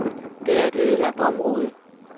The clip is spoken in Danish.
Det er et ødelagt område.